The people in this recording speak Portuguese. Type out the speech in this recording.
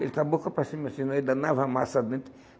Ele com a boca para cima assim, ele danava a massa dentro.